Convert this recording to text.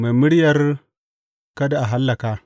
Mai muryar Kada A Hallaka.